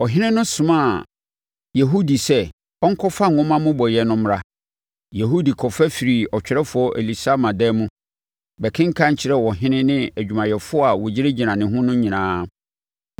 Ɔhene no somaa Yehudi sɛ, ɔnkɔfa nwoma mmobɔeɛ no mmra. Yehudi kɔfa firii ɔtwerɛfoɔ Elisama dan mu, bɛkenkan kyerɛɛ ɔhene ne adwumayɛfoɔ a wɔgyinagyina ne ho no nyinaa.